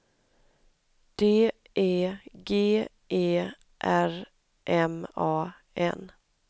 D E G E R M A N